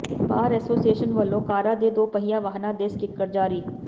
ਬਾਰ association ਵੱਲੋਂ ਕਾਰਾਂ ਤੇ ਦੋ ਪਹੀਆ ਵਾਹਨਾਂ ਦੇ ਸਟਿੱਕਰ ਜਾਰੀ